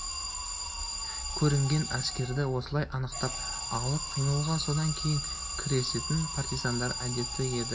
көрінген әскерді осылай анықтап алып қимылға содан кейін кірісетін партизандардың әдеті еді